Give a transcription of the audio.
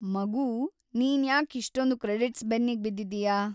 ಮಗೂ, ನೀನ್‌ ಯಾಕ್‌ ಇಷ್ಟೊಂದ್ ಕ್ರೆಡಿಟ್ಸ್‌ ಬೆನ್ನಿಗ್‌ ಬಿದ್ದಿದೀಯ?